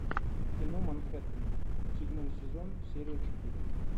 кино манхэттен седьмой сезон серия четыре